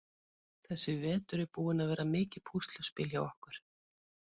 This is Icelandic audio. Þessi vetur er búinn að vera mikið púsluspil hjá okkur.